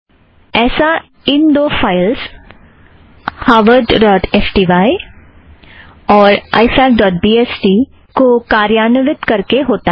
ऐसा इन दो files - Harvard dot S T Y harvardस्टाई और आइ फ़ॅक ड़ॉट बी एस टी ifacबीएसटी को कार्यान्वित करके होता है